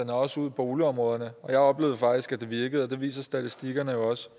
og også ud i boligområderne jeg oplevede faktisk at det virkede og det viser statistikkerne jo også